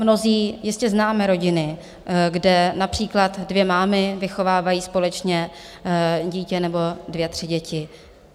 Mnozí jistě známe rodiny, kde například dvě mámy vychovávají společně dítě nebo dvě, tři děti.